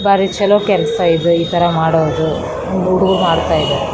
ಬಾರಿ ಚಲೋ ಕೆಲ್ಸ ಇದು ಈ ತರ ಮಾಡೋದು ಒಂದು ಹುಡುಗ್ರು ಮಾಡ್ತಾ ಇದಾರೆ .